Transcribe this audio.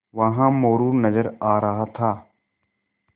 वहाँ मोरू नज़र आ रहा था